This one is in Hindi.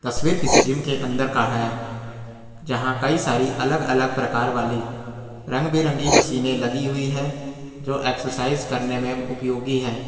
तस्वीर किसी जिम के अंदर का है जहां कई सारी अलग अलग प्रकार वाली रंग बिरंगी मशीने लगी हुई है जो एक्सरसाइज करने में उपयोगी है।